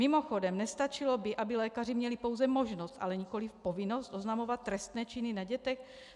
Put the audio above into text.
Mimochodem nestačilo by, aby lékaři měli pouze možnost, ale nikoliv povinnost oznamovat trestné činy na dětech?